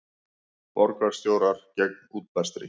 Borgarstjórar gegn útblæstri